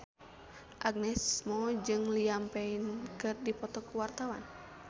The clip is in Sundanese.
Agnes Mo jeung Liam Payne keur dipoto ku wartawan